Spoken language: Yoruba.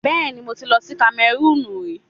Bẹẹni, mo ti lọ sí Kamẹrúùnù rí.